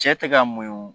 Cɛ tɛ ka mun